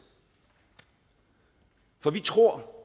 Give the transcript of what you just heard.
for vi tror